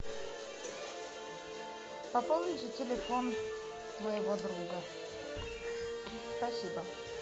пополните телефон моего друга спасибо